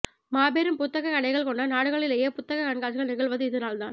மாபெரும் புத்தகக் கடைகள் கொண்ட நாடுகளிலேயே புத்தகக் கண்காட்சிகள் நிகழ்வது இதனால்தான்